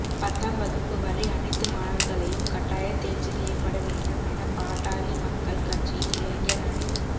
பத்தாம் வகுப்பு வரை அனைத்து மாணவா்களையும் கட்டாயத் தோ்ச்சி செய்யப்பட வேண்டும் என பாட்டாளி மக்கள் கட்சியின் இளைஞா் அணித்